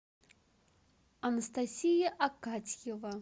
анастасия акатьева